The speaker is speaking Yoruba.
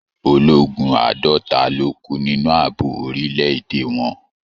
Ológun àádọta ló kú nínú ààbò orílẹ̀-èdè wọn.